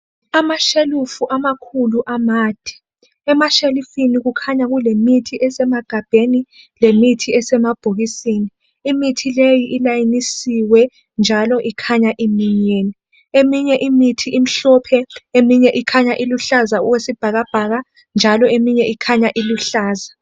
Amashelufu amakhulu amade, emashelufini kukhanya kulemithi esemegabheni lemithi esemabhokisini. Imithi leyi ilayinisiwe njalo ikhanya iminyene, eminye imithi omhlophe, eminye imithi okhanya oluhlaza okwesibhakabhaka njalo eminye okhanya iluhlaza.